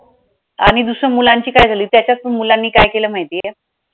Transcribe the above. आणि दुसरं मुलांची काय झाली त्याच्यात पण मुलांनी काय केलं माहितीये